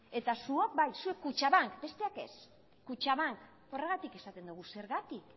eta zuok bai zuek kutxabank besteak ez kutxabank horregatik esaten dugu zergatik